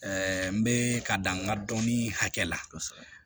n bɛ ka dan n ka dɔnni hakɛ la kosɛbɛ